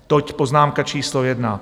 Toť poznámka číslo jedna.